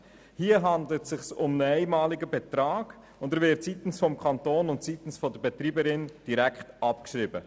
Es handelt sich hier um einen einmaligen Betrag, und dieser wird seitens des Kantons und der Betreiberin direkt abgeschrieben.